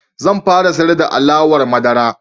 Zan fara siyar da alawar madara.